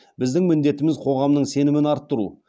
біздің міндетіміз қоғамның сенімін арттыру